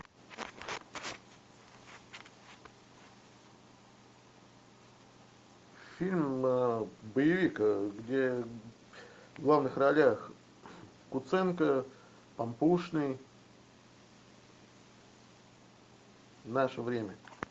фильм боевик где в главных ролях куценко пампушный наше время